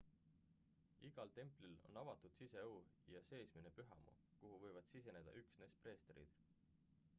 igal templil on avatud siseõu ja seesmine pühamu kuhu võivad siseneda üksnes preestrid